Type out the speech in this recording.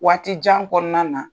Waati jan kɔɔna na.